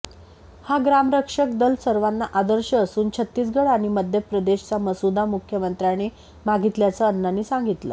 हा ग्रामरक्षक दल सर्वांना आदर्श असून छत्तीसगड आणि मध्यप्रदेशचा मसुदा मुख्यमंत्र्यांनी मागितल्याचं अण्णांनी सांगितलं